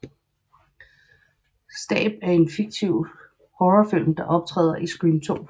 Stab er en fiktiv Horrorfilm der optræder i Scream 2